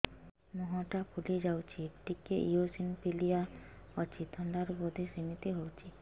ମୁହଁ ଟା ଫୁଲି ଯାଉଛି ଟିକେ ଏଓସିନୋଫିଲିଆ ଅଛି ଥଣ୍ଡା ରୁ ବଧେ ସିମିତି ହଉଚି